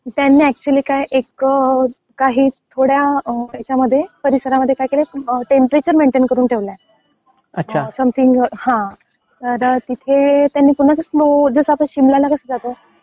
त्यांनी ऍक्च्युली काय एक थोड्या याच्यामध्ये, परिसरामध्ये काय केलंय. टेंपरेचर मेंटेन करून ठेवलाय. समथिंग. हा. तर तिथे त्यांनी समज स्नो जसा आपण शिमला कसं जातो.